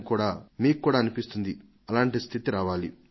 ఇక మీరు కూడా వారితో కలసి పనిచేయాలని కోరుకుంటారు